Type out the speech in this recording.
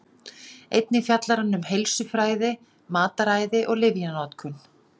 Einnig fjallar hann um heilsufræði, mataræði og lyfjanotkun.